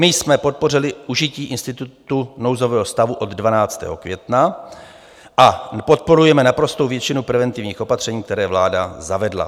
My jsme podpořili užití institutu nouzového stavu od 12. května a podporujeme naprostou většinu preventivních opatření, která vláda zavedla.